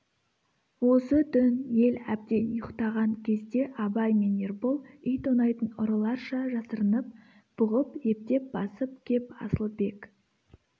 осы түн ел әбден ұйқтаған кезде абай мен ербол үй тонайтын ұрыларша жасырынып бұғып ептеп басып кеп асылбек